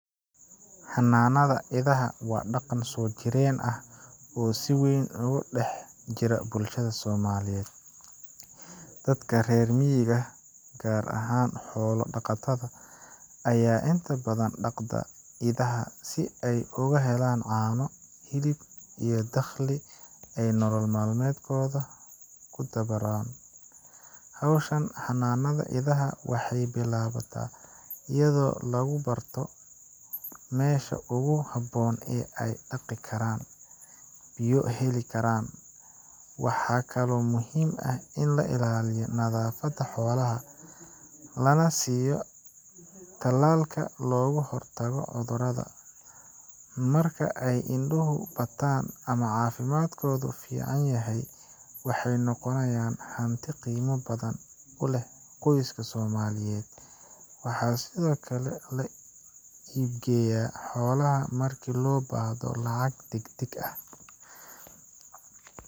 Xanaanada idaha waa dhaqan soo jireen ah oo si weyn uga dhex jira bulshada Soomaaliyeed. Dadka reer miyiga ah, gaar ahaan xoolo-dhaqatada, ayaa inta badan dhaqda idaha si ay uga helaan caano, hilib, iyo dakhli ay nolol maalmeedkooda ku dabaraan. Hawshan xanaanada idaha waxay bilaabataa iyadoo lagu barto meesha ugu habboon ee ay daaqi karaan, biyona heli karaan. Waxaa kaloo muhiim ah in la ilaaliyo nadaafadda xoolaha, lana siiyo tallaalka looga hortago cudurrada. Marka ay iduhu bataan ama caafimaadkoodu fiican yahay, waxay noqonayaan hanti qiimo badan u leh qoyska Soomaaliyeed. Waxaa sidoo kale la iibgeeyaa xoolaha marka loo baahdo lacag degdeg ah.